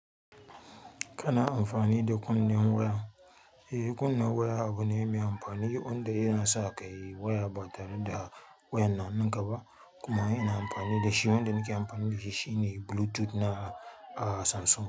Kana amfani da kunnen waya? Eh, kunne waya abu ne mai amfani wanda yana sa ka yi waya ba tare da wayan na hannunka ba kuma yana amfani da shi. Wanda nake amfani da shi shi ne Bluetooth na ah Samsung.